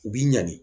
U b'i ɲanni